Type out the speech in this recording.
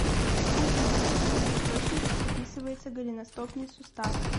афина в каких источниках описывается голеностопный сустав